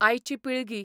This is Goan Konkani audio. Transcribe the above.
आयची पिळगी